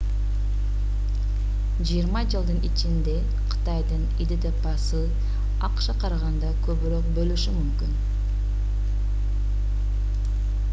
жыйырма жылдын ичинде кытайдын идпсы акшга караганда көбүрөөк болушу мүмкүн